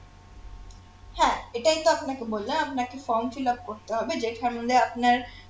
হ্যাঁ এটাই তো আপনাকে বললাম আপনাকে form fillup করতে হবে যেখানে আপনার